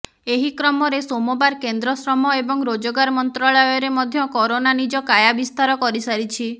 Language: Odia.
ଏହି କ୍ରମରେ ସୋମବାର କେନ୍ଦ୍ର ଶ୍ରମ ଏବଂ ରୋଜଗାର ମନ୍ତ୍ରାଳୟରେ ମଧ୍ୟ କରୋନା ନିଜ କାୟା ବିସ୍ତାର କରିସାରିଛି